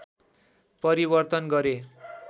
परिवर्तन गरे